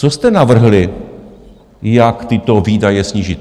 Co jste navrhli, jak tyto výdaje snížit?